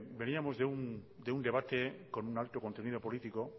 veníamos de un debate con un alto contenido político